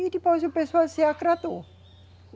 E depois o pessoal se agradou.